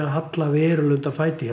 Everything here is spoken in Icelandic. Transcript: halla verulega undan fæti í